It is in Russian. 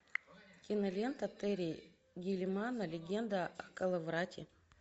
кинолента терри гиллиама легенда о коловрате